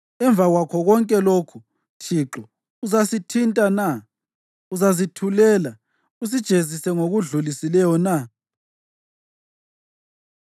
Emva kwakho konke lokhu Thixo, uzazithinta na? Uzazithulela, usijezise ngokudlulisileyo na?